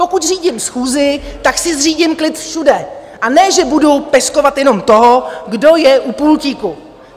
Pokud řídím schůzi, tak si zřídím klid všude, a ne že budu peskovat jenom toho, kdo je u pultíku.